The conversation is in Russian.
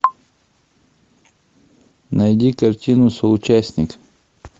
найди картину соучастник